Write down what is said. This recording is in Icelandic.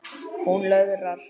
Hún löðrar.